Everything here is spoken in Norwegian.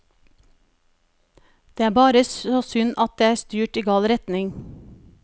Det er bare så synd at det er styrt i gal retning.